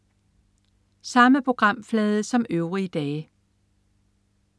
Samme programflade som øvrige dage